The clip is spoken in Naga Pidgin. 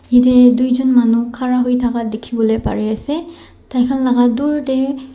yatae tuijon manu khara hoithaka dikhiwolae parease tai khan laka dur tae.